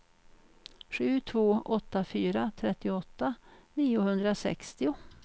sju två åtta fyra trettioåtta niohundrasextio